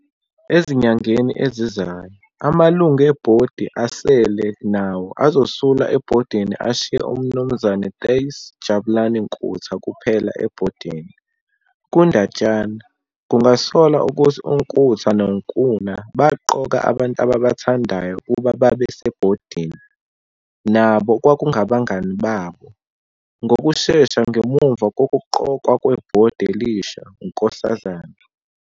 Ezinyangeni ezizayo, amalungu ebhodi asele nawo azosula ebhodini ashiye uMnu Tuis Jabulani Nkutha kuphela ebhodini. Kundatshana, kungasolwa ukuthi uNkutha noNkuna baqoka abantu ababathandayo ukuba babe sebhodini, nabo okwakungabangani babo. Ngokushesha ngemuva kokuqokwa kwebhodi elisha, uNks.